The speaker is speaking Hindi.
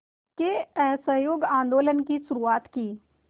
के असहयोग आंदोलन की शुरुआत की